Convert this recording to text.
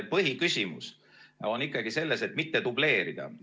Põhiküsimus on ikkagi selles, et mitte dubleerida.